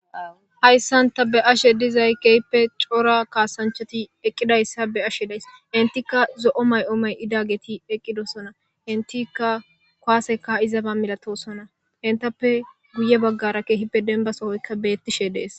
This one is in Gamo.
Haysan ta be'ashe dizay keehippe cora kasanchat eqidaysa be'ashe days,entiakzo'o mayo may'idaget eqidosona,entiaka kuwase ka'izba milatisona entappe guye bagara keehippe demba sohoyka betishe de'es.